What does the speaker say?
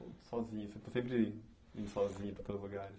Sozinho, sempre indo sozinho para todos os lugares.